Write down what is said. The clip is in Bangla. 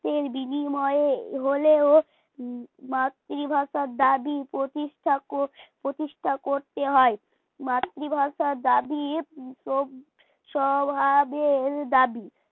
রক্তের বিনিময়ে হলেও মাতৃভাষার দাবি প্রতিষ্ঠা কো প্রতিষ্ঠা করতে হয়। মাতৃভাষার দাবি সব আগের দাবি